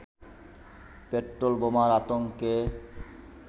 petrol বোমার আতঙ্কে